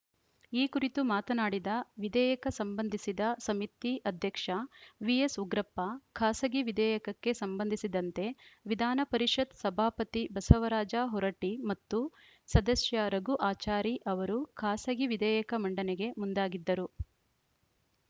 ಈ ಕುರಿತು ಮಾತನಾಡಿದ ವಿಧೇಯಕ ಸಂಬಂಧಿಸಿದ ಸಮಿತಿ ಅಧ್ಯಕ್ಷ ವಿಎಸ್‌ ಉಗ್ರಪ್ಪ ಖಾಸಗಿ ವಿಧೇಯಕಕ್ಕೆ ಸಂಬಂಧಿಸಿದಂತೆ ವಿಧಾನ ಪರಿಷತ್‌ ಸಭಾಪತಿ ಬಸವರಾಜ ಹೊರಟ್ಟಿಮತ್ತು ಸದಸ್ಯ ರಘು ಆಚಾರಿ ಅವರು ಖಾಸಗಿ ವಿಧೇಯಕ ಮಂಡನೆಗೆ ಮುಂದಾಗಿದ್ದರು